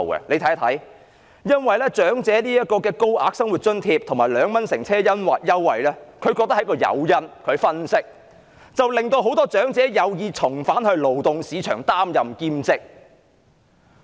據他們分析，高額長者生活津貼和2元乘車優惠是一個誘因，令很多長者有意重返勞動市場擔任兼職。